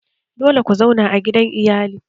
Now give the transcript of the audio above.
Dole ku zauna a gidan iyali!